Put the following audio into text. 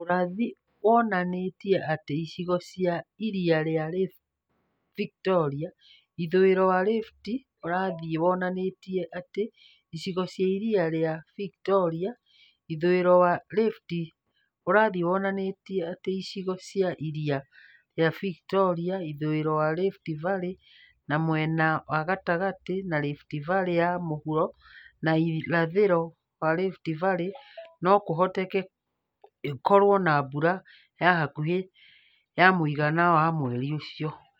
Urathi wonani͂iti͂e ati͂ icigo cia iria ri͂a Victoria, ithu͂i͂ro wa Rift Urathi wonani͂iti͂e ati͂ icigo cia iria ri͂a Victoria, ithu͂i͂ro wa Rift Urathi wonani͂iti͂e ati͂ icigo cia iria ri͂a Victoria, ithu͂i͂ro wa Rift Valley na mwena wa gatagati͂ na Rift Valley ya mu͂huro na irathi͂ro wa Rift Valley no ku͂hoteke ikoru͂o na mbura ya hakuhi͂ na ya mu͂igana wa mweri u͂cio.